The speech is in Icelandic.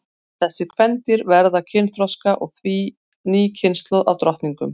Þessi kvendýr verða kynþroska og því ný kynslóð af drottningum.